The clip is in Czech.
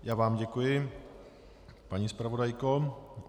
Já vám děkuji, paní zpravodajko.